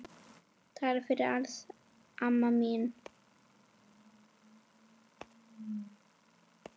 Takk fyrir allt, amma mín.